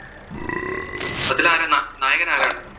അതിൽ ആരാ നാ നായകൻ ആരാണ്?